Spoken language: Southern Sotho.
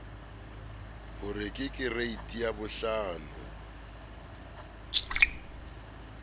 ho re ke kereiti yabohlano